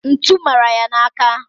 ntu mara ya n'aka..